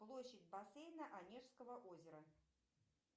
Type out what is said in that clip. площадь бассейна онежского озера